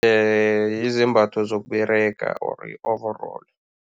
Yizembatho zokUberega or i-overall.